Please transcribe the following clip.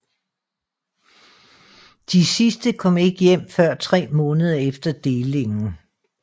De sidste kom ikke hjem før tre måneder efter delingen